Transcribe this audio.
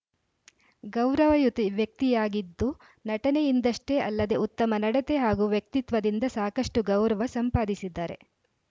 ಗೌರವಯುತ ವ್ಯಕ್ತಿಯಾಗಿದ್ದು ನಟನೆಯಿಂದಷ್ಟೇ ಅಲ್ಲದೆ ಉತ್ತಮ ನಡತೆ ಹಾಗೂ ವ್ಯಕ್ತಿತ್ವದಿಂದ ಸಾಕಷ್ಟುಗೌರವ ಸಂಪಾದಿಸಿದ್ದಾರೆ